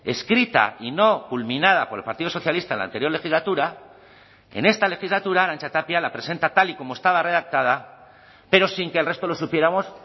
escrita y no culminada por el partido socialista en la anterior legislatura en esta legislatura arantxa tapia la presenta tal y como estaba redactada pero sin que el resto lo supiéramos